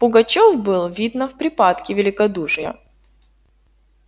пугачёв был видно в припадке великодушия